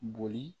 Boli